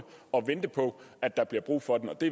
og vente på at der bliver brug for den og det